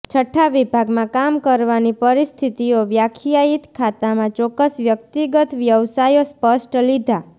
છઠ્ઠા વિભાગમાં કામ કરવાની પરિસ્થિતિઓ વ્યાખ્યાયિત ખાતામાં ચોક્કસ વ્યક્તિગત વ્યવસાયો સ્પષ્ટ લીધા